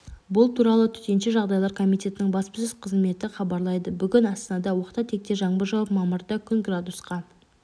бұл туралы төтенше жағдайлар комитетінің баспасөз қызметі хабарлайды бүгін астанада оқта-текте жаңбыр жауып мамырда күн градусқа